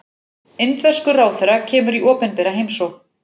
Indverskur ráðherra kemur í opinbera heimsókn